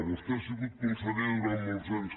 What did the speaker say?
vostè ha sigut conseller durant molts anys